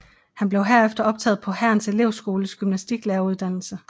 Han blev herefter optaget på Hærens Elevskoles gymnastiklæreruddannelse